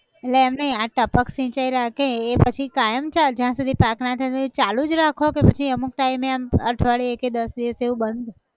એટલે એમ નઈ આ ટપક સિંચાઈ રાખે એ પછી કાયમ ચાલે જ્યાં સુધી પાક ના થાય ત્યાં સુધી ચાલુ જ રાખો કે પછી અમુક ટાઈમે આમ અઠવાડિયે કે દસ દિવસ એવું બંધ